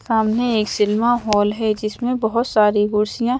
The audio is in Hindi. सामने एक सिनेमा हॉल है जिसमें बहुत सारी कुर्सियां--